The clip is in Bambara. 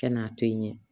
Kɛ n'a to yen